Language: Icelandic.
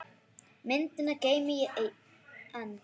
Myndina geymi ég enn.